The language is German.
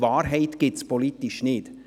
Denn politisch gibt es Wahrheit nicht;